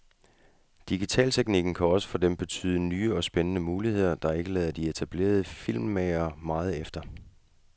Digitalteknikken kan også for dem betyde nye og spændende muligheder, der ikke lader de etablerede filmmagere meget efter.